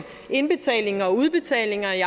indbetalinger og udbetalinger i